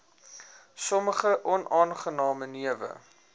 sommige onaangename newe